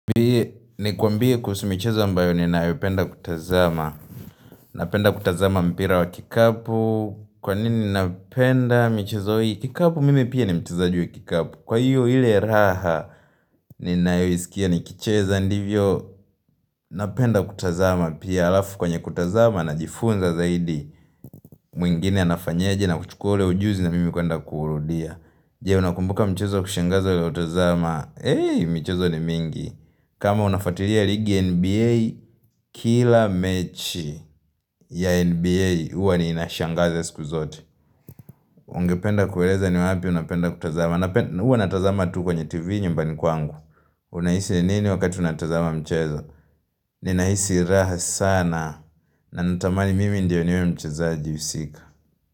B, ni kwambie kuhusu michezo ambayo ninayopenda kutazama Napenda kutazama mpira wa kikapu Kwa nini napenda michezo hii kikapu mimi pia ni mchazaji wa kikapu Kwa hiyo ile raha ninayoisikia nikicheza Ndivyo napenda kutazama pia alafu kwenye kutazama najifunza zaidi mwingine anafanyeje na kuchukua ule ujuzi na mimi kwenda kuurudia Jee unakumbuka mchezo kushengaza ya utazama Heyi mchezo ni mingi kama unafatiria ligi NBA kila mechi ya NBA uwa ni inashangaze siku zote Ungependa kueleza ni wapi unapenda kutazama Uwa natazama tu kwenye TV nyumbani kwangu Unahisi nini wakati unatazama mchezo Ninahisi raha sana na natamani mimi ndiyo niwe mchezaji husika.